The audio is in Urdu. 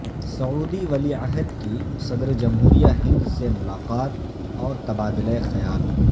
سعودی ولی عہد کی صدر جمہوریہ ہند سے ملاقات اور تبادلہ خیال